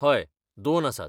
हय, दोन आसात.